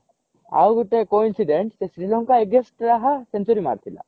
ଆଉ ଗୋଟେ coincident ସେ ଶ୍ରୀଲଙ୍କା against ରେ ହା century ମାରିଥିଲା